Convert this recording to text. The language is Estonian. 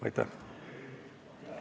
Aitäh!